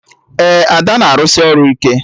Ee, Ada na-arụsị ọrụ ike